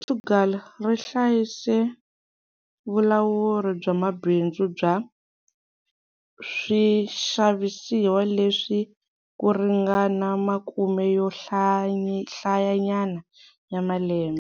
Portugal ri hlayise vulawuri bya mabindzu bya swixavisiwa leswi ku ringana makume yo hlayanyana ya malembe.